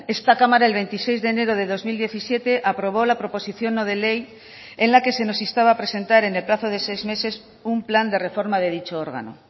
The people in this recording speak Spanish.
esta cámara el veintiséis de enero de dos mil diecisiete aprobó la proposición no de ley en la que se nos instaba a presentar en el plazo de seis meses un plan de reforma de dicho órgano